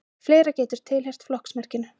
fleira getur tilheyrt flokksmerkinu